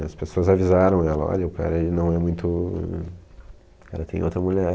As pessoas avisaram ela, olha, o cara não é muito... Ele tem outra mulher.